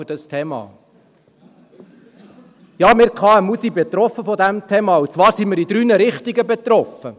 Ja, klar, wir sind betroffen von diesem Thema, und zwar sind wir in drei Richtungen betroffen: